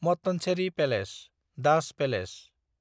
Mattancherry palace (Dutch palace)